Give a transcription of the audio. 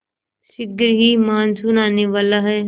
शीघ्र ही मानसून आने वाला है